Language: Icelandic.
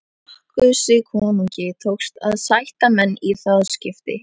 Bakkusi konungi tókst að sætta menn í það skiptið.